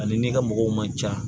Ani n'i ka mɔgɔw man ca